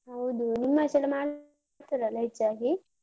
ಹೌದು ನಿಮ್ಮಾಚೆಯೆಲ್ಲ ಮಾಡ್ತಾರಲ್ಲ ಹೆಚ್ಚಾಗಿ?